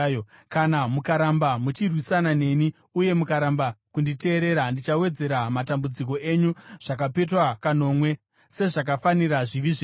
“ ‘Kana mukaramba muchirwisana neni uye mukaramba kunditeerera, ndichawedzera matambudziko enyu zvakapetwa kanomwe, sezvakafanira zvivi zvenyu.